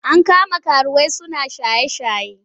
An kama karuwai suna shaye-shaye.